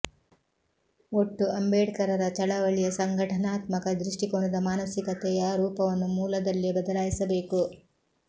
ಒಟ್ಟು ಅಂಬೇಡ್ಕರರ ಚಳವಳಿಯ ಸಂಘಟನಾತ್ಮಕ ದೃಷ್ಟಿಕೋನದ ಮಾನಸಿಕತೆಯ ರೂಪವನ್ನು ಮೂಲದಲ್ಲೇ ಬದಲಾಯಿಸಬೇಕು